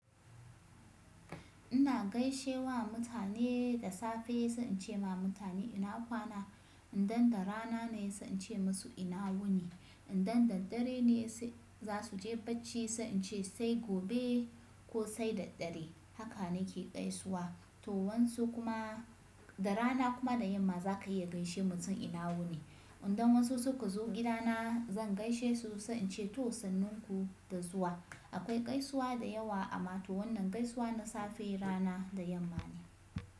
Ina gaishe wa mutane da safe sai in ce ma mutane ina kwana. Idan da rana ne sai in ce musu ina wuni. Idan da dare ne sai za su je bacci sai in ce sai gobe ko sai da dare. Haka nake gaisuwa. To wansu kuma da rana kuma da yamma za ka iya gaishe mutum ina wuni. Idan wasu suka zo gidana zan gaishe su sai in ce to sannan ku da zuwa. Akwai gaisuwa da yawa amma to wannan gaisuwa na safe, rana da yamma ne.